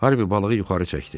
Harvi balığı yuxarı çəkdi.